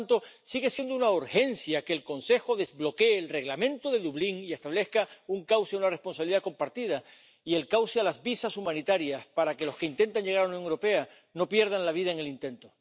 Por tanto, sigue siendo una urgencia que el Consejo desbloquee el Reglamento de Dublín y establezca un cauce, una responsabilidad compartida y el cauce a los visados humanitarios para que los que intenten llegar a Unión Europea no pierdan la vida en el intento.